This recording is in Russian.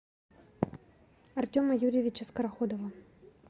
артема юрьевича скороходова